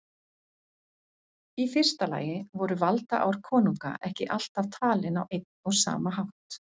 Í fyrsta lagi voru valdaár konunga ekki alltaf talin á einn og sama hátt.